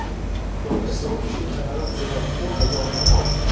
Þorði ekki að opna dyrnar af því að það var kona hjá henni að máta.